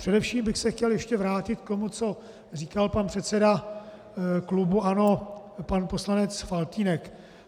Především bych se chtěl ještě vrátit k tomu, co říkal pan předseda klubu ANO, pan poslanec Faltýnek.